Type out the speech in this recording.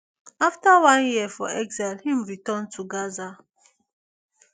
afta one year for exile im return to gaza